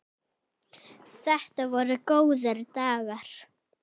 Þetta voru góðir dagar.